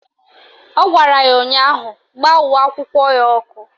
Ọ gwara ya ụnyaahụ "Gbaa uwe akwụkwọ ya ọkụ"!